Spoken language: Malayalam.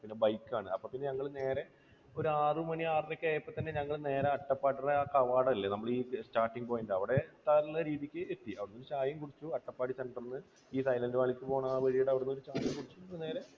പിന്നെ bike ആണ്. അപ്പോൾ പിന്നെ ഞങ്ങൾ നേരെ ഒരു ആറു മണി ആറരയൊക്കെ ആയപ്പോൾ തന്നെ ഞങ്ങൾ നേരെ അട്ടപ്പാടിയുടെ ആ കവാടം ഇല്ലേ, നമ്മുടെ ഈ Starting Point. അവിടെ എത്താനുള്ള രീതിക്ക് എത്തി. അവിടെ നിന്ന് ചായയും കുടിച്ച് അട്ടപ്പാടി center ൽ നിന്ന് ഈ സൈലൻറ് വാലിക്ക് പോകുന്ന ആ വഴിയുടെ അവിടെ നിന്ന് ഒരു ചായ കുടിച്ചിട്ട് നേരെ